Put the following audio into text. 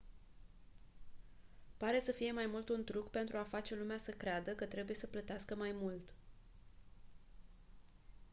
pare să fie mai mult un truc pentru a face lumea să creadă că trebuie să plătească mai mult